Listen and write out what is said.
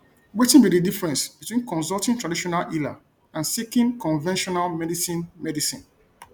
wetin be di difference between consulting traditional healer and seeking conventional medicine medicine